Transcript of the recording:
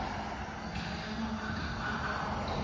ntlha ya mabaka a a